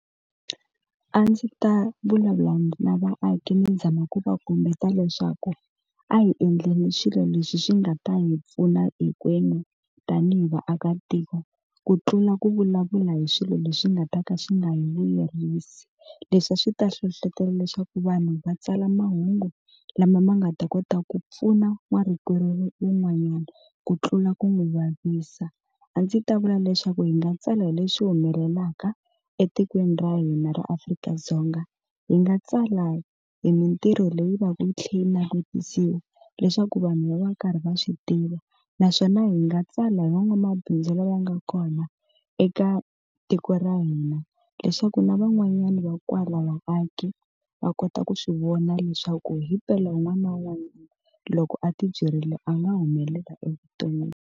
A ndzi ta vulavula na vaaki ni zama ku va kombeta leswaku a hi endleni swilo leswi swi nga ta hi pfuna hinkwenu tanihi vaakatiko, ku tlula ku vulavula hi swilo leswi nga ta ka swi nga hi vuyerisi. Leswi a swi ta hlohletelo leswaku vanhu va tsala mahungu lama ma nga ta kota ku pfuna wa rikwerhu wun'wanyana, ku tlula ku n'wi vavisa. A ndzi ta vula leswaku hi nga tsala hi leswi humelelaka etikweni ra hina ra Afrika-Dzonga. Hi nga tsala hi mintirho leyi va ku yi tlhela yi navetisiwa leswaku vanhu va va karhi va swi tiva, naswona hi nga tsala hi van'wamabindzu lava nga kona eka tiko ra hina. Leswaku na van'wanyani va kwala vaaki, va kota ku swi vona leswaku himpela un'wana na un'wana loko a ti byerile a nga humelela evuton'wini.